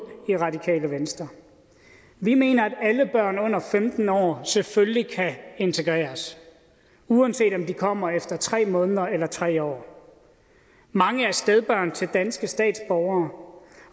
i radikale venstre vi mener at alle børn under femten år selvfølgelig kan integreres uanset om de kommer efter tre måneder eller tre år mange er stedbørn til danske statsborgere